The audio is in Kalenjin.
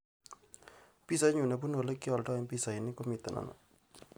Pisainyu nebunu olegioldoen pisainik komito ano